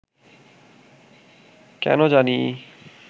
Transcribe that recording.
কেনো জানি